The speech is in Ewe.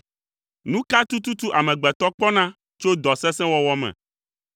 Nu ka tututu amegbetɔ kpɔna tso dɔ sesẽ wɔwɔ me?